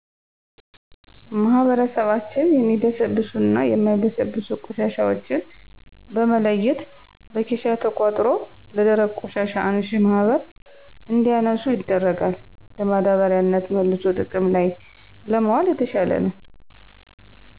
ማህበረሰባችን የሚበሰብሱና የማይበሰብሱ ቆሻሻዎችን በመለየት በኬሻ ተቆጥሮ ለደረቅ ቆሻሻ አንሺ ማህበር እንዲያነሱ ይደረጋል። ለማዳበሪያነት መልሶ ጥቅም ላይ ለማዋል የተሻለ ነው።